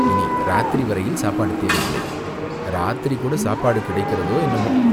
இனி இராத்திரி வரையில் சாப்பாடு தேவையில்லை, இராத்திரி கூடச் சாப்பாடு கிடைக்கிறதோ, என்னமோ